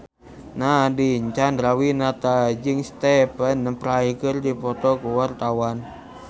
Nadine Chandrawinata jeung Stephen Fry keur dipoto ku wartawan